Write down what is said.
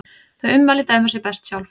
Þau ummæli dæma sig best sjálf.